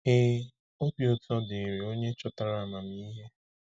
Ee, obi ụtọ dịrị onye chọtara amamihe.